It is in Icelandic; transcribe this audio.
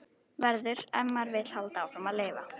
Verður- ef maður vill halda áfram að lifa.